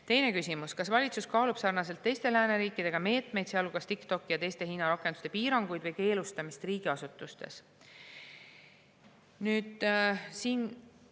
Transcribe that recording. Teine küsimus: "Kas valitsus kaalub sarnaselt teiste lääneriikidega meetmeid, sealhulgas TikToki ja teiste Hiina rakenduste piiranguid või keelustamist riigiasutustes?